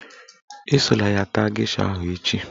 Esola ya taa gesha ahụ echi